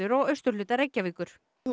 og austurhluta Reykjavíkur